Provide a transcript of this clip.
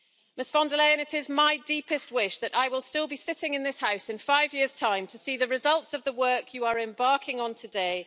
Ms von der Leyen, it is my deepest wish that I will still be sitting in this House in five years' time to see the results of the work you are embarking on today.